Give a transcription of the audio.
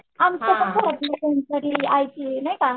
आमचं कसाय म्हणजे कोणतरी आयकली नाय का.